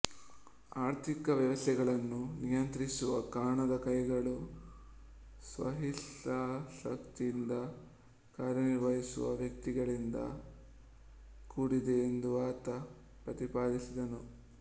ಆರ್ಥಿಕ ವ್ಯವಸ್ಥೆಗಳನ್ನು ನಿಯಂತ್ರಿಸುವ ಕಾಣದ ಕೈಗಳು ಸ್ವಹಿತಾಸಕ್ತಿಯಿಂದ ಕಾರ್ಯನಿರ್ವಹಿಸುವ ವ್ಯಕ್ತಿಗಳಿಂದ ಕೂಡಿದೆ ಎಂದು ಆತ ಪ್ರತಿಪಾದಿಸಿದನು